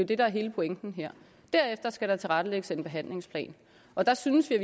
det der er hele pointen her derefter skal der tilrettelægges en behandlingsplan og der synes vi